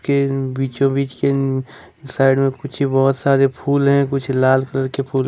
ये बीचों बीच के साइड में कुछ बहुत सारे फूल हैं कुछ लाल कलर के फूल--